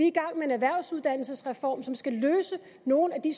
i gang med en erhvervsuddannelsesreform som skal løse nogle af de